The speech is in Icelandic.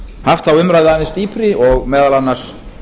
haft þá umræðu aðeins dýpri og meðal annars